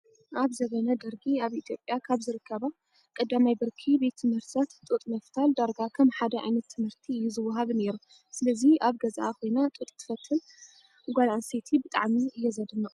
ኣብ ዝበነ ደርጊ ኣብ ኢትዮጰያ ኣብ ዝርከባ ቀዳማይ ብርኪ ቤት ትምህርታት ጡጥ ምፍታል ዳርጋ ከም ሓደ ዓይነት ትምህርቲ እዩ ዝወሃብ ነይሩ። ስለዚ ኣብ ገዝኣ ኾይና ጡጥ ተፈትል ጓል ኣንስተይቲ ብጣዕሚ እየ ዘድንቅ።